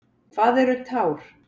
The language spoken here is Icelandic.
Hvað eru tár?